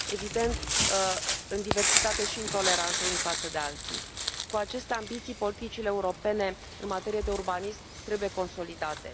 Evident, în diversitate și în toleranță unii față de alții. Cu aceste ambiții, politicile europene în materie de urbanism trebuie consolidate.